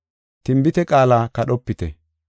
Tinbite qaala kadhopite.